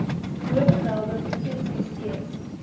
bovermelde provinsie steeds